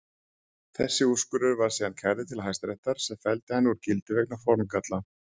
Þessi úrskurður var síðan kærður til Hæstaréttar sem felldi hann úr gildi vegna formgalla.